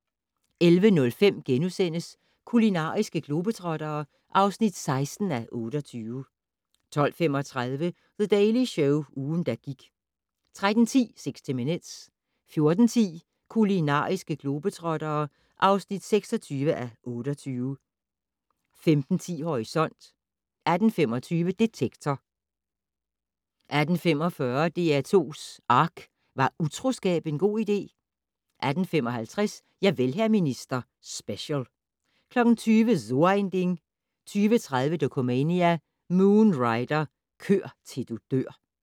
11:05: Kulinariske globetrottere (16:28)* 12:35: The Daily Show - ugen, der gik 13:10: 60 Minutes 14:10: Kulinariske globetrottere (26:28) 15:10: Horisont 18:15: Detektor 18:45: DR2's ARK - Var utroskab en god idé? 18:55: Javel, hr. minister - Special 20:00: So ein Ding 20:30: Dokumania: Moon Rider - kør til du dør